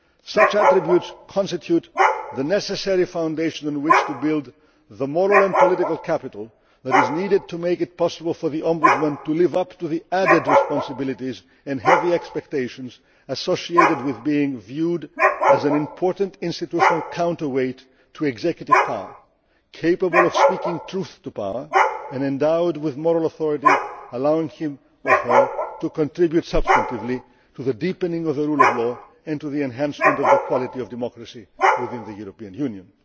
Such attributes constitute the necessary foundation on which to build the moral and political capital that is needed to make it possible for the Ombudsman to live up to the added responsibilities and heavy expectations associated with being viewed as an important institutional counterweight to executive power, capable of speaking truth to power and endowed with moral authority allowing him or her to contribute substantively to the deepening of the rule of law and to the enhancement of the quality of democracy within the European